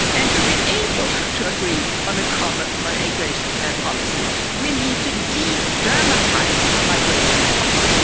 To be able to agree on a common migration policy we need to de dramatise migration policy.